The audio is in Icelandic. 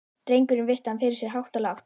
Drengurinn virti hann fyrir sér hátt og lágt.